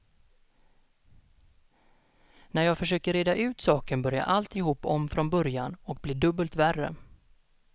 När jag försöker reda ut saken börjar alltihop om från början och blir dubbelt värre.